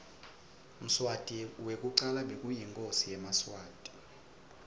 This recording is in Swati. mswati wekucala bekayinkhosi yemaswati